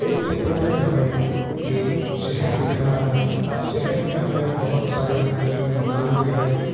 इस चित्र में हमे एक शहर दिख रहा है शहर में हमे बहुत सारे अनेक मकान दिख रहे है।